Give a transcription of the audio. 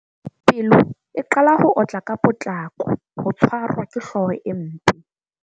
Pelo e qala ho otla ka potlako. Ho tshwarwa ke hlooho e mpe.